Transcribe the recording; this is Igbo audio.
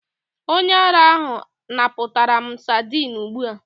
Onye ara ahụ napụtara m sadin ugbu a.